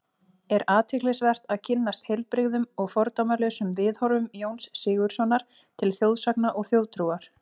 Er athyglisvert að kynnast heilbrigðum og fordómalausum viðhorfum Jóns Sigurðssonar til þjóðsagna og þjóðtrúar.